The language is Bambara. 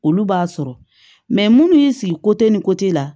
Olu b'a sɔrɔ munnu y'i sigi ni ko ti la